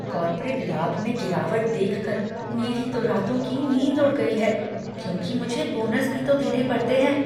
Corporate लाभ में गिरावट देखकर मेरी तो रातों की नींद उड़ गई है क्योंकि मुझे बोनस भी तो देने पड़ते हैं।